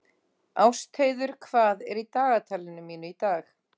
Ástheiður, hvað er í dagatalinu mínu í dag?